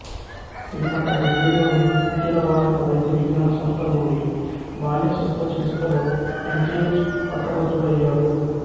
పిమ్మట ఢిల్లీ లోని అఖిల భారత వైద్యవిజ్ఞాన సంస్థ నుండి బాల్యశస్త్రచికిత్సలో యం సి హెచ్ పట్టభద్రుడయ్యాడు